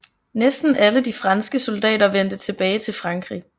Næsten alle de franske soldater vendte tilbage til Frankrig